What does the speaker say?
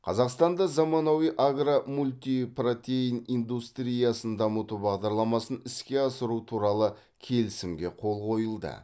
қазақстанда заманауи агро мультипротеин индустриясын дамыту бағдарламасын іске асыру туралы келісімге қол қойылды